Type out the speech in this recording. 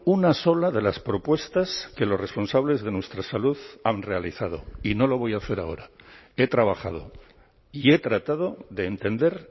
una sola de las propuestas que los responsables de nuestra salud han realizado y no lo voy a hacer ahora he trabajado y he tratado de entender